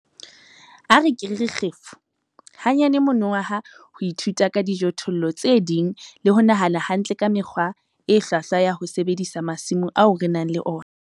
A re ke re re kgefu! hanyane monongwaha ho ithuta ka dijothollo tse ding le ho nahana hantle ka mekgwa e hlwahlwa ya ho sebedisa masimo ao re nang le ona.